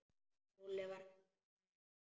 Lúlli var hættur að hlæja.